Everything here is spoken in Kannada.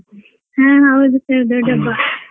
ಹಾ ಹೌದು sir ದೊಡ್ಡ ಹಬ್ಬ.